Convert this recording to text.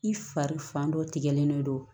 I fari fan dɔ tigɛlen don